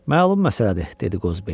Məlum məsələdir, dedi Qozbel.